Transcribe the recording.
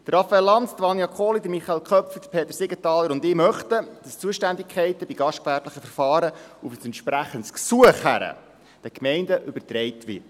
Raphael Lanz, Vania Kohli, Michael Köpfli, Peter Siegenthaler und ich möchten, dass die Zuständigkeiten bei gastgewerblichen Verfahren auf ein entsprechendes Gesuch hin den Gemeinden übertragen werden.